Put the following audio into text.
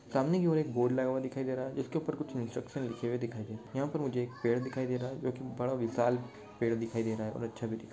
सामने एक ओर एक बोर्ड लगा हुआ दिखाई दे रहा है जिसके ऊपर कुछ इन्सट्रक्शन लिखे हुए दिखाई दे रहे है यहा पर मुझे एक पेड़ दिखाई दे रह है जो की बडा विशाल पेड़ दिखाई दे रहा है और अच्छा भी दिखा--